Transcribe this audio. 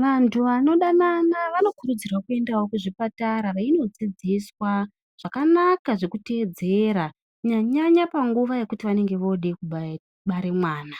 Vanthu vanodanana vanokurudzirwao kuende kuzvipatara veindodzidziswa zvakanaka zvekutedzera kunyanyanya panguva yekuti vanonga vode kubara mwana